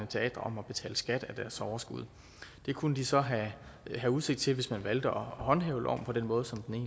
teatre om at betale skat af deres overskud det kunne de så have udsigt til hvis man valgte at håndhæve loven på den måde som den